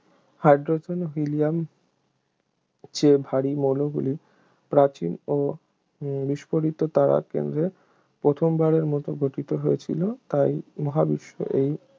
hydrogen ও helium চেয়ে ভারী মৌলগুলি প্রাচীন ও বিস্ফোরিত তারার কেন্দ্রে প্রথমবারের মত গঠিত হয়েছিল তাই মহাবিশ্ব এই